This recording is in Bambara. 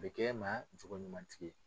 Bɛ ma jogoɲumantigi ye